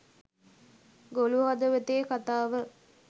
ගොළු හදවතේ කතාව